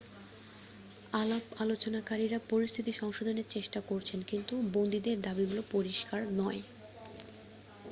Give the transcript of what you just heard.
আলাপালোচনকারীরা পরিস্থিতি সংশোধনের চেষ্টা করছেন কিন্তু বন্দীদের দাবিগুলো পরিষ্কার নয়